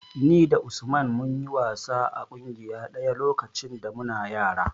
Ni da Usman mun yi wasa a ƙungiya ɗaya lokacin da muna yara.